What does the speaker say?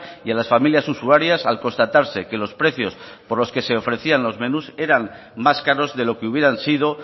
y a las familias usuarias al constatarse que los precios por los que se ofrecían los menús eran más caros de lo que hubieran sido